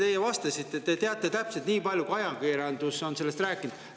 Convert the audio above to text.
Teie vastasite, et te teate täpselt nii palju, kui ajakirjandus on sellest rääkinud.